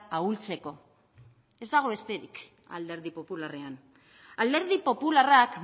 ahultzeko ez dago besterik alderdi popularrean alderdi popularrak